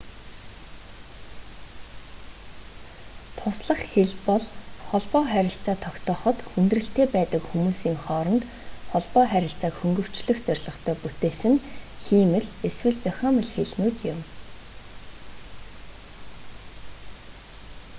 туслах хэл бол холбоо харилцаа тогтооход хүндрэлтэй байдаг хүмүүсийн хооронд холбоо харилцааг хөнгөвчлөх зорилготой бүтээсэн хиймэл эсвэл зохиомол хэлнүүд юм